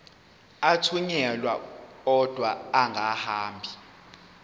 athunyelwa odwa angahambi